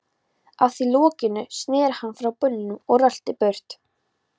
Að því loknu sneri hann frá brunninum og rölti burt.